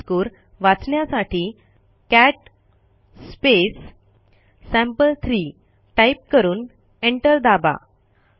त्यातील मजकूर वाचण्यासाठी कॅट सॅम्पल3 टाईप करून एंटर दाबा